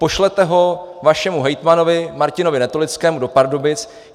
Pošlete ho vašemu hejtmanovi Martinovi Netolickému do Pardubic.